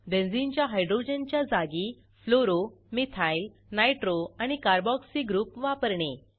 बेंझिनच्या हायड्रोजनच्या जागी fluoro methyl nitro आणि कार्बोक्सी ग्रुप वापरणे